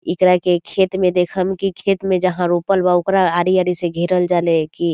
एकरा के खेत में देखम की खेत में जहां रोपल बा ओकरा आरी आरी से घेरल जाला गी ।